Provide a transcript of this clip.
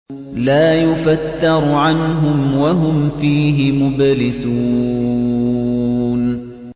لَا يُفَتَّرُ عَنْهُمْ وَهُمْ فِيهِ مُبْلِسُونَ